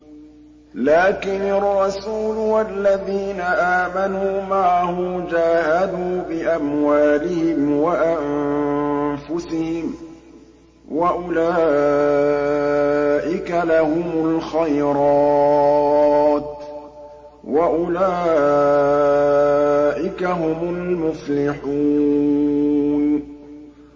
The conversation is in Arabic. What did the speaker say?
لَٰكِنِ الرَّسُولُ وَالَّذِينَ آمَنُوا مَعَهُ جَاهَدُوا بِأَمْوَالِهِمْ وَأَنفُسِهِمْ ۚ وَأُولَٰئِكَ لَهُمُ الْخَيْرَاتُ ۖ وَأُولَٰئِكَ هُمُ الْمُفْلِحُونَ